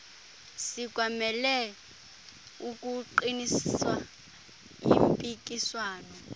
sikwamele ukuqinisa impikiswano